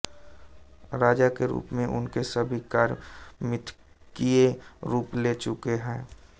राजा के रूप में उनके सभी कार्य मिथकीय रूप ले चुके हैं